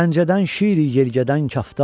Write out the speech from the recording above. Pəncədən şir i yelgədən kaftar.